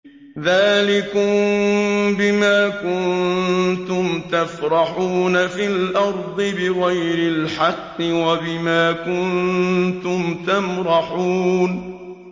ذَٰلِكُم بِمَا كُنتُمْ تَفْرَحُونَ فِي الْأَرْضِ بِغَيْرِ الْحَقِّ وَبِمَا كُنتُمْ تَمْرَحُونَ